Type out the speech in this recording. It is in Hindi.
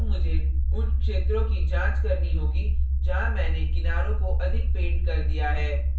और मुझे उन क्षेत्रों की जांच करनी होगी जहाँ मैंने किनारों को अधिक पेंट कर दिया है